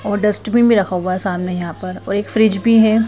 और डस्टबीन भी रखा हुआ है सामने यहां पर और एक फ्रिज भी है।